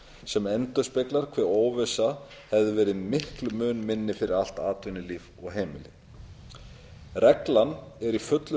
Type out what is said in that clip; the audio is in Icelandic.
sem endurspeglar hve óvissa hefði verið miklum mun minni fyrir allt atvinnulíf og heimili reglan er í fullu